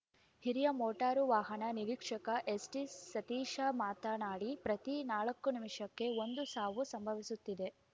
ಹಿರಿಯ ಮೋಟಾರು ವಾಹನ ನಿರೀಕ್ಷಕ ಎಸ್‌ಟಿಸತೀಶ ಮಾತನಾಡಿ ಪ್ರತಿ ನಾಲ್ಕು ನಿಮಿಷಕ್ಕೆ ಒಂದು ಸಾವು ಸಂಭವಿಸುತ್ತಿದೆ